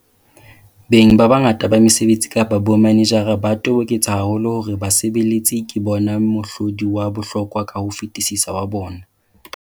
BENG BA BANGATA BA MESEBETSI KAPA BOMANEJARA BA TOBOKETSA HAHOLO HORE BASEBELETSI KE BONA MOHLODI WA BOHLOKWA KA HO FETISISA WA BONA.